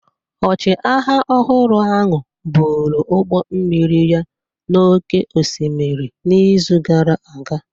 Ọchịagha ọhụrụ ahụ buru ụgbọ mmiri ya n'oké osimiri n'izu gara aga.